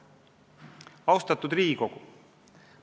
Austatud Riigikogu!